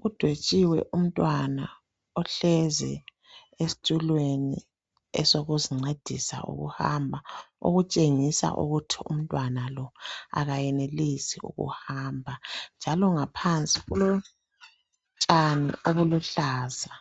Kudwetshiwe umntwana ohlezi esitulweni esokuzincedisa ukuhamba okutshengisa ukuthi umntwana lo kenelisi ukuhamba njalo ngaphansi kulotshani obuluhlaza